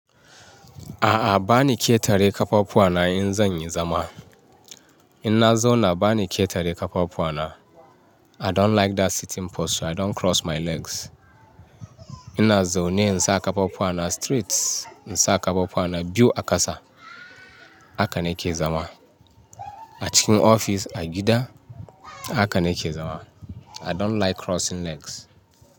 A'a bani ƙetare ƙafafuwa na in zanyi zama. Inna zauna bani ƙetare ƙafafuwana. I don't like that sitting posture. I don't cross my legs. Inna zaune insa ƙafafuwana straight, insa ƙafafuwana biyu a ƙasa. Haka nake zama. A cikin ofis, a gida haka nake zama. I don't like crossing legs.